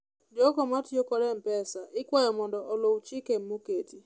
jogo matiyo kod mpesa ikwayo mondo uluw chike moketo